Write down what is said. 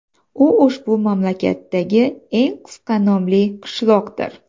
U ushbu mamlakatdagi eng qisqa nomli qishloqdir.